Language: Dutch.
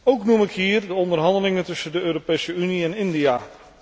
Ook noem ik hier de onderhandelingen tussen de Europese Unie en India.